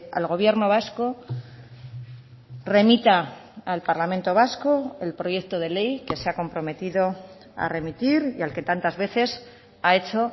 al gobierno vasco remita al parlamento vasco el proyecto de ley que se ha comprometido a remitir y al que tantas veces ha hecho